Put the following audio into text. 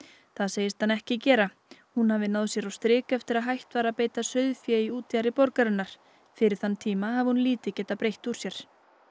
það segist hann ekki gera hún hafi náð sér á strik eftir að hætt var að beita sauðfé í útjaðri borgarinnar fyrir þann tíma hafi hún lítið getað breitt úr sér